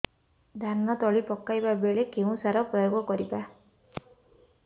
ଧାନ ତଳି ପକାଇବା ବେଳେ କେଉଁ ସାର ପ୍ରୟୋଗ କରିବା